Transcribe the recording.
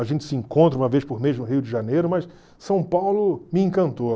A gente se encontra uma vez por mês no Rio de Janeiro, mas São Paulo me encantou.